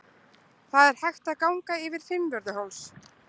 Það er hægt að ganga yfir Fimmvörðuháls.